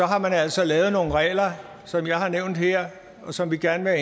har man altså lavet nogle regler som jeg har nævnt her og som vi gerne vil